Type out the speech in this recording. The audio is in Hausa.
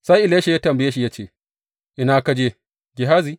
Sai Elisha ya tambaye shi ya ce, Ina ka je, Gehazi?